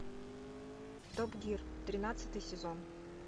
топ гир тринадцатый сезон